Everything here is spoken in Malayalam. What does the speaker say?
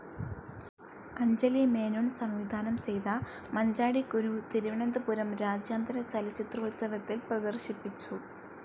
അഞ്ജലി മേനോൻ സംവിധാനം ചെയ്ത മഞ്ചാടിക്കുരു തിരുവനന്തപുരം രാജ്യാന്തര ചലച്ചിത്രോൽസവത്തിൽ പ്രദർശിപ്പിച്ചു.